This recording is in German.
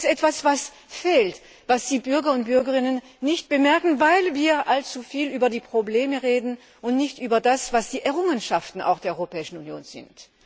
Das ist etwas, was fehlt, was die Bürgerinnen und Bürger nicht bemerken, weil wir allzu viel über die Probleme reden und nicht über das, was die Errungenschaften der Europäischen Union sind.